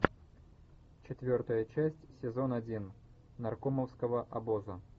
четвертая часть сезон один наркомовского обоза